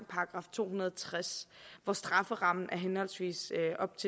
§ to hundrede og tres hvor strafferammen er henholdsvis